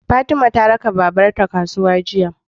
Fatima ta raka babar ta kasuwa jiya